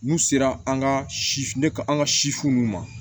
N'u sera an ka si ne ka an ka sifin nunnu ma